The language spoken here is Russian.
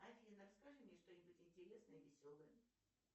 афина расскажи мне что нибудь интересное веселое